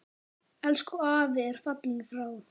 Elsku afi er fallinn frá.